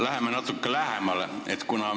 Läheme natuke lähemale.